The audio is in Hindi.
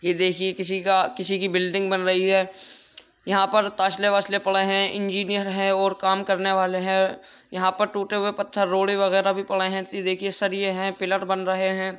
यह देखिए किसी का किसी की बिल्डिंग बन रही है | यहाँ पर तसले वस्ले पड़े हैं इंजीनियर है और काम करने वाले हैं | यहाँ पर टूटे हुए पत्थर रोड़े वगैरा भी पड़े हैं यह देखिए सरिये हैं पिलर बन रहे हैं ।